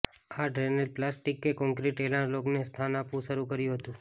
આ ડ્રેનેજ પ્લાસ્ટિકે કોંક્રિટ એનાલોગને સ્થાન આપવું શરૂ કર્યું હતું